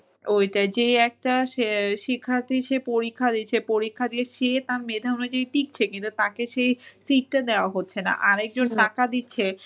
ওইটাই যে একটা শিক্ষার্থী সে পরীক্ষা দিচ্ছে পরীক্ষা দিয়ে সে তার মেধা অনুযায়ী টিকছে কিন্তু তাকে সেই seat টা দেওয়া হচ্ছে না আরেকজন টাকা দিচ্ছে